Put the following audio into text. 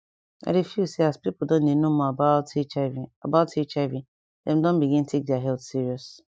i dey feel say as pipo don dey know more about hiv about hiv dem don begin take their health serious